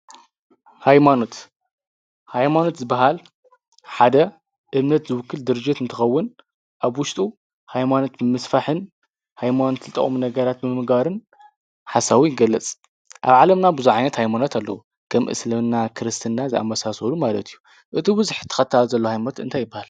ሃይማኖት ዝበሃል ሓደ እምነት ዝውክል ድርጅት እንተኸውን ኣብ ውሽጡ ሃይማኖት ብምስፋሕን ሃይማኖት ልጠቅሙ ነገራት ምምግባርን ሓሳቡ ይገለፅ ኣብ ዓለምና ብዙሓት ዓይነት ሃይማኖት ኣለዉ ከም እስልምና ክርስትና ዝኣመሳሰሉ ማለት እዩ እቲ ብዙሕ ተኸታሊ ዘሎዎ ሃይማኖት እንታይ ይበሃል?